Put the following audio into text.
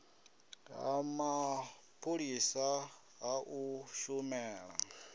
ha mapholisa ha u shumela